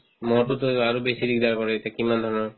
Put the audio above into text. ম'হতোতো আৰু বেছি কৰে এতিয়া কিমান ধৰণৰ